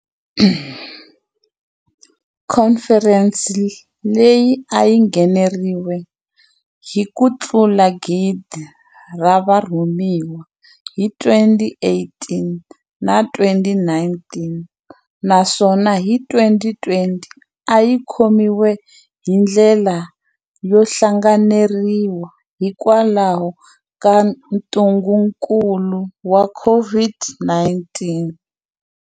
Khomferense leyi a yi ngheneriwile hi kutlula gidi ra varhumiwa hi 2018 na 2019, naswona hi 2020 a yi khomiwile hi ndlela yo hlanganeriwa hikwalaho ka ntungukulu wa COVID-19.